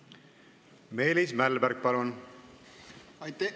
Meelis Mälberg, palun!